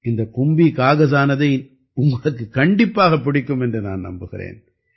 இந்த கும்பி காகஸானதை உங்களுக்குக் கண்டிப்பாகப் பிடிக்கும் என்று நான் நம்புகிறேன்